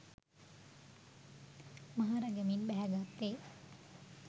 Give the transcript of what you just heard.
මහරගමින් බැහැ ගත්තේ